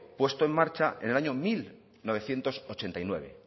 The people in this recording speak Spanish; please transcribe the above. puesto en marcha en el año mil novecientos ochenta y nueve